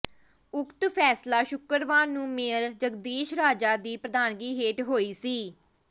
ਉਕਤ ਫ਼ੈਸਲਾ ਸ਼ੁੱਕਰਵਾਰ ਨੂੰ ਮੇਅਰ ਜਗਦੀਸ਼ ਰਾਜਾ ਦੀ ਪ੍ਰਧਾਨਗੀ ਹੇਠ ਹੋਈ ਮੀ